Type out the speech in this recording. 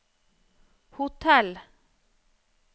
hotell